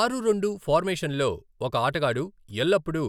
ఆరు రెండు ఫార్మేషన్లో, ఒక ఆటగాడు ఎల్లప్పుడూ